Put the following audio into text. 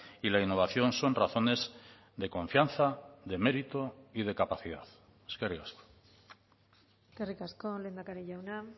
y la innovación son razones de confianza de mérito y de capacidad eskerrik asko eskerrik asko lehendakari jauna